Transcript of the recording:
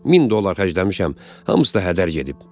1000 dollar xərcləmişəm, hamısı da hədər gedib.